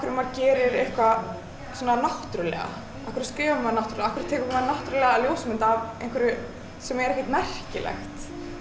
maður gerir eitthvað svona náttúrulega af hverju skrifar maður náttúrulega af hverju tekur maður náttúrulega ljósmynd af einhverju sem er ekkert merkilegt